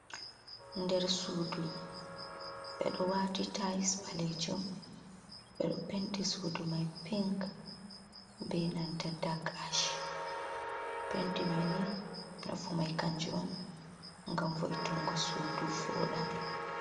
Nder sudu edo wati tayis ɓalejum, ɓeɗo penti sudu mai pink be nanta dak ash. penti mai ni nafu mai kanjo on ngam vo’itungo sudu voda.